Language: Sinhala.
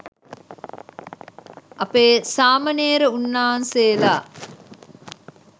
අපේ සාමනේර උන්නාන්සෙලා